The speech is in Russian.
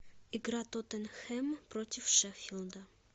игра тоттенхэм против шеффилда